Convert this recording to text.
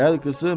Gəl qızım.